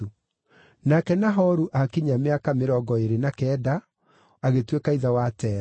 Nake Nahoru aakinyia mĩaka mĩrongo ĩĩrĩ na kenda, agĩtuĩka ithe wa Tera.